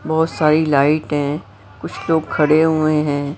बहुत सारी लाइट हैं कुछ लोग खड़े हुए हैं।